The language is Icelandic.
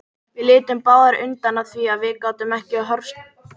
Við litum báðar undan af því að við gátum ekki horfst í augu við hana.